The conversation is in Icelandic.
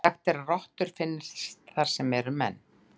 Sagt er að rottur finnist þar sem menn eru.